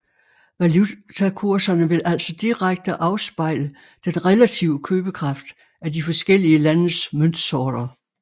Valutakurserne vil altså direkte afspejle den relative købekraft af de forskellige landes møntsorter